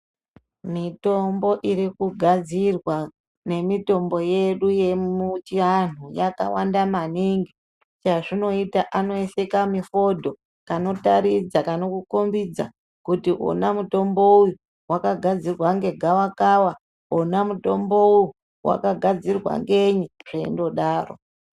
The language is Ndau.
Mitombo iri kugadzirwa nemitombo yedu yechianhu yakawanda maningi. Chezvinoita anoisa kamifodho kanotaridza, kanokukombidza kuti ona mutombo uyu wakagadzirwa negavakava, wona mutombo uyu wakagadzirwa ngenyi zveingodarodaro.